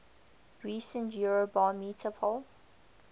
recent eurobarometer poll